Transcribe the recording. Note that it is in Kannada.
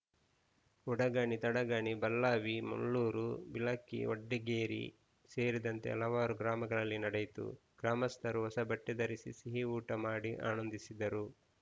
ಉಡಗಣಿ ತಡಗಣಿ ಬಳ್ಳಾವಿ ಮುಳ್ಳೂರು ಬಿಳಕಿ ವಡ್ಡಿಗೇರಿ ಸೇರಿದಂತೆ ಹಲವಾರು ಗ್ರಾಮಗಳಲ್ಲಿ ನಡೆಯಿತು ಗ್ರಾಮಸ್ಥರು ಹೊಸಬಟ್ಟೆಧರಿಸಿ ಸಿಹಿಊಟ ಮಾಡಿ ಆನಂದಿಸಿದರು